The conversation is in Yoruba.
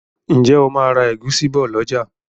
ǹjẹ́ o ma ra ẹ̀gúsí bọ̀ lọ̀jà?